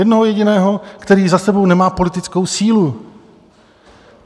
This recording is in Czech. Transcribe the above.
Jednoho jediného, který za sebou nemá politickou sílu.